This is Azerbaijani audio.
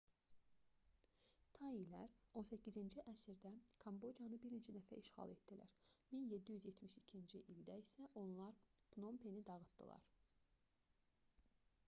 tailər 18-ci əsrdə kambocanı bir neçə dəfə işğal etdilər 1772-ci ildə isə onlar pnompeni dağıtdılar